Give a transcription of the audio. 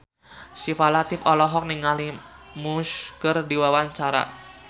Syifa Latief olohok ningali Muse keur diwawancara